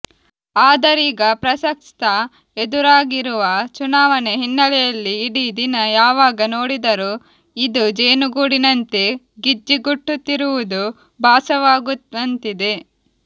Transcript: ಆದರೀಗ ಪ್ರಸಕ್ತ ಎದುರಾಗಿರುವ ಚುನಾವಣೆ ಹಿನ್ನೆಲೆಯಲ್ಲಿ ಇಡೀ ದಿನ ಯಾವಾಗ ನೋಡಿದರೂ ಇದು ಜೇನುಗೂಡಿನಂತೇ ಗಿಜ್ಜಿಗುಟ್ಟುತ್ತಿರುವುದು ಭಾಸವಾಗುವಂತಿದೆ